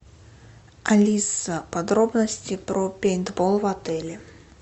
алиса подробности про пейнтбол в отеле